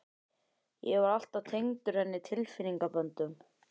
Ég var alltaf tengdur henni tilfinningaböndum.